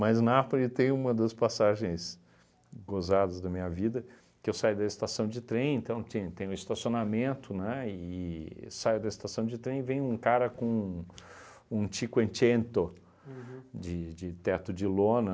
Mas Napole tem uma das passagens gozadas da minha vida, que eu saio da estação de trem, então ti tem um estacionamento, né, e saio da estação de trem e vem um cara com um cinquecento de de teto de lona,